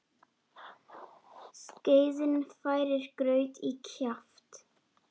Skeiðin færir graut í kjaft.